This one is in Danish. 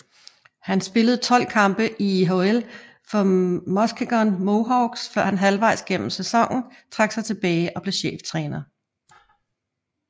Han spillede 12 kampe i IHL for Muskegon Mohawks før han halvvejs gennem sæsonen trak sig tilbage og blev cheftræner